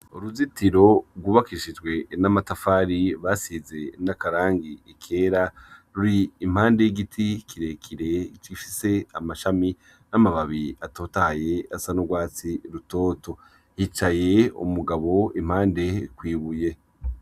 Uruzitiro rwubakishijwe n'amatafari basize n'akarangi ikera ruri impande y'igiti kirekire kishise amashami n'amababi atotaye asa n'urwatsi rutoto hicaye umugabo impande kwibuye.